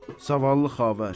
Zavallı xavər.